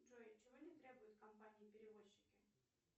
джой чего не требуют компании перевозчики